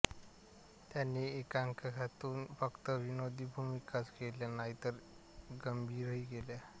त्यांनी एकांकिकांतून फक्त विनोदी भूमिकाच केल्या नाहीत तर गंभीरही केल्या